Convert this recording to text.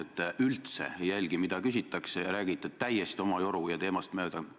Te üldse ei jälgi, mida küsitakse, vaid räägite täiesti oma joru ja teemast mööda.